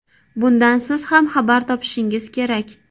Bundan siz ham xabar topishingiz kerak.